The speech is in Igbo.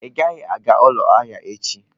Ị gaghị aga ụlọ ahịa echi!